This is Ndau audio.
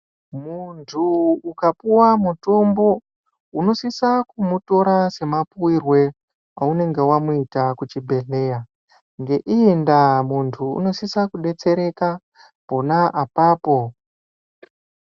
Mundu ukapuwe mutombo unisisa kutora semapuirwe aunenge waita kuchibhedhleya. Ngeiyi ndaa munhu unosisa kudetsereka pona apapo.